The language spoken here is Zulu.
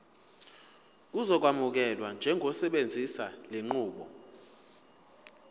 uzokwamukelwa njengosebenzisa lenqubo